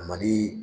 A ma di